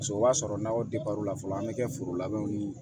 Paseke o b'a sɔrɔ n'aw la fɔlɔ an mi kɛ foro labɛnw ni